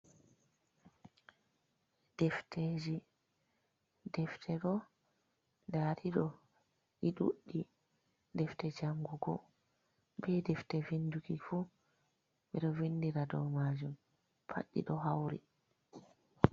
Defteji, defte ɗo nda ɗi ɗo ɗi ɗuɗɗi, defte jangugo be defte vinduki fu, ɓeɗo vindira dow majun pad ɗi ɗo hauri.